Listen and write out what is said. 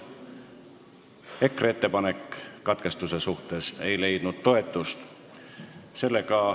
ERKE ettepanek katkestamise kohta ei leidnud toetust.